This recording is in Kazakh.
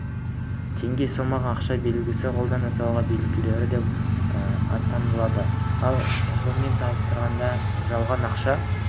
теңге сомаға ақша белгісі қолдан жасау белгілері бар деп танылды ал жылмен салыстырғанда жалған ақша